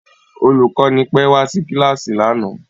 Olùkọ́ni pẹ́ wá sí kíláàsì lánàá